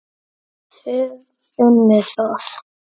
Þið finnið það?